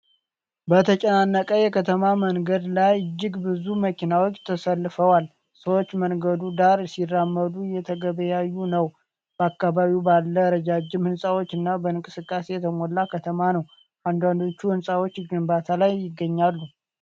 በተጨናነቀ የከተማ መንገድ ላይ እጅግ ብዙ መኪናዎች ተሰልፈዋል። ሰዎች መንገዱ ዳር ሲራመዱና እየተገበያዩ ነው፤ በአካባቢው ባለ ረጃጅም ሕንጻዎችና በእንቅስቃሴ የተሞላ ከተማ ነው። አንዳንዶቹ ሕንፃዎች ግንባታ ላይ ይገኛሉ።